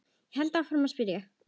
held ég áfram að spyrja.